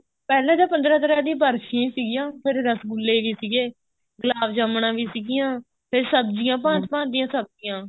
ਪਹਿਲਾਂ ਤਾਂ ਪੰਦਰਾਂ ਤਰ੍ਹਾਂ ਦੀਆਂ ਬਰਫੀਆਂ ਸੀਗੀਆਂ ਫ਼ੇਰ ਰਸਗੁੱਲੇ ਸੀਗੇ ਗੁਲਾਬ ਜਾਮਣਾ ਵੀ ਸੀਗੀਆਂ ਫ਼ੇਰ ਸਬਜੀਆਂ ਭਾਂਤ ਭਾਂਤ ਦੀਆਂ ਸਬਜੀਆਂ